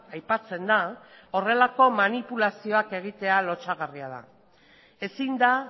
aipatzen da horrelako manipulazioak egitea lotsagarria da ezin da